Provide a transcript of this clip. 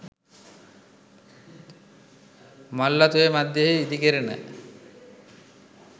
මල්වතු ඔය මධ්‍යයෙහි ඉදි කෙරෙන